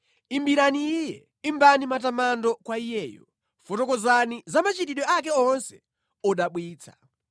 Imbirani Iye, imbani matamando kwa Iyeyo; fotokozani za machitidwe ake onse odabwitsa.